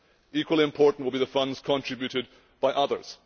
Equally important will be the funds contributed by others.